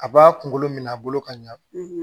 A b'a kunkolo minɛ a bolo ka ɲa